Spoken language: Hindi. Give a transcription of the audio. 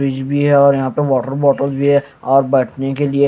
फ्रिज भी है और यहां पे वाटर बॉटल भी है और बैठने के लिए--